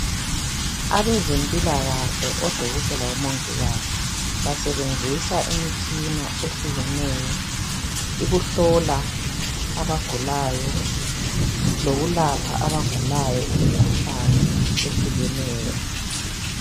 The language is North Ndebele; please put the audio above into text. Abezempilakahle odokotela labomongikazi, basebenzisa imitshina ehlukeneyo, ukuhlola abagulayo lokwelapha abagulayo imikhuhlane ehlukeneyo.